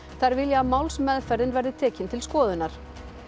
þær vilja að málsmeðferðin verði tekin til skoðunar